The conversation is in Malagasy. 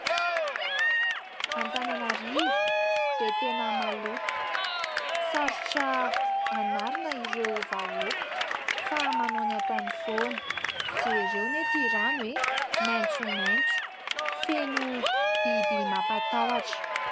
Antananarivo dia tena maloto, sarotra anarina ireo vahoaka fa manao ny ataony foana. Jereo anie itỳ rano eh, maitsomaitso, feno biby mampatahotra.